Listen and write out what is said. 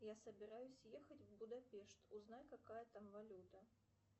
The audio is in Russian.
я собираюсь ехать в будапешт узнай какая там валюта